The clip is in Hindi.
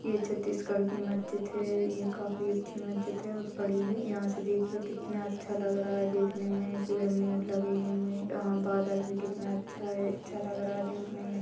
ये छत्तीसगढ़ की मस्जिद है यह काफी अच्छी मस्जिद है और बड़ी है यहाँ से देखिये कितना अच्छा लग रहा है देखने में पिरमिड लगे हुए है यहाँ बादल भी कितना अच्छा है अच्छा लग रहा है देखने में --